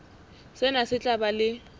sena se tla ba le